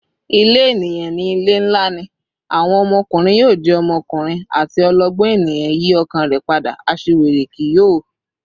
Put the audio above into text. "Ile eniyan ni ile nla rẹ," "Awọn ọmọkunrin yoo jẹ ọmọkunrin," ati "Ọlọgbọn eniyan yi ọkàn rẹ pada; aṣiwere kii yoo."